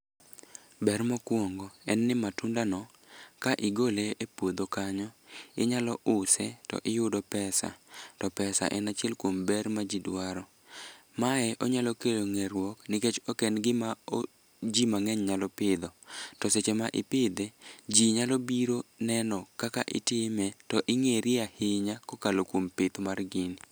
Ber mokwongo en ni matundo no ka igole e puodho kanyo, inyalo use to iyudo pesa. To pesa en achiel kuom ber ma ji dwaro, mae onyalo kelo ng'eruok nikech ok en gima ji mang'eny nyalo pidho. To seche ma ipidhe, ji nyalo biro neno kaka itime to ing'eri ahinya kokalo kuom pith mar gini.